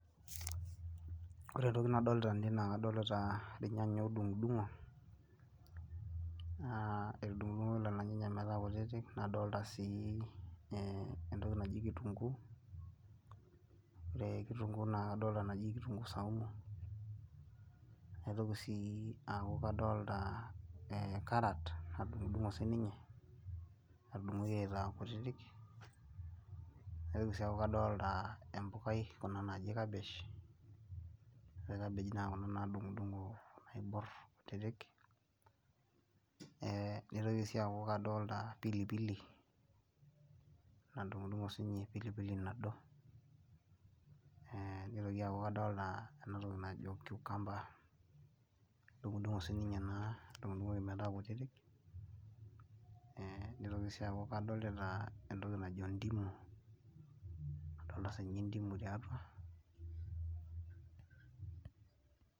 Ore ntoki nadolita tene naa kadolita irnyanya oodungudungo. Naa etudungudungoki lelo nyanya metaa kutitik nadolita sii entoki naji kitunguu. Ore kitunguu naa kadolita entoki naji kitunguu saumu. Naitoki sii aaku kadolita karat nadungudungo siininye. Natudungoki aaitaa kutitik nitoki sii aaku kadolita empukai kuna naaji kabish ore cabish naa kuna naadungudungo naiborr kutitik. Nitoki sii aaku kadolita pili pili nadungudungo siininye nado. Nitoki aaku kadolita cucumber nadungudungo siininye natudungudungoki metaa kutitik. Nitoki sii aaku kadolita entoki najo ndimu adolita sii ninye ndimu tiatua.